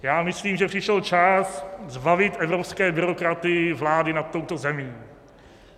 Já myslím, že přišel čas zbavit evropské byrokraty vlády nad touto zemí.